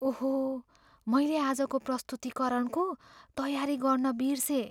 ओहो! मैले आजको प्रस्तुतीकरणको तयारी गर्न बिर्सेँ।